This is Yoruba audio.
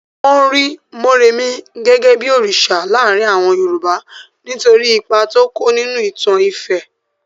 Wọ́n rí Morèmi gẹ́gẹ́ bí òrìsà láàrin àwọn Yorùbá nítorí ipa tó kó nínú ìtàn ifẹ̀.